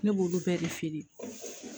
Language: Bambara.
Ne b'olu bɛɛ de feere